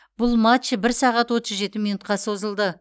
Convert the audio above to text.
бұл матч бір сағат отыз жеті минутқа созылды